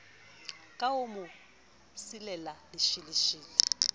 ka ho mo silela lesheleshele